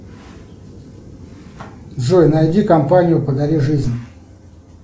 джой найди компанию подари жизнь